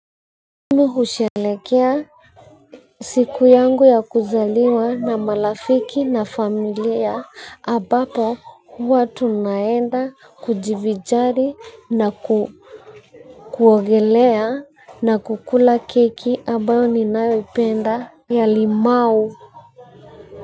Mimi hushelekea siku yangu ya kuzaliwa na malafiki na familia ambapo huwa tunaenda kujivinjari na ku kuogelea na kukula keki ambayo ninayoipenda ya limau.